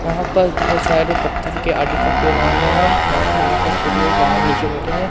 यहां पर बहोत सारे पत्थर के आदि कट आए गए हैं साथ में यहां पर कुछ लोग नीचे बैठे हैं।